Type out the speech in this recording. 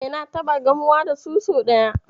E, na taɓa gamuwa da su sau ɗaya.